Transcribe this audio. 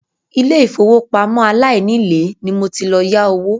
Ilé ìfowópamọ́ aláìnílèé ni mo ti lọ yá owó.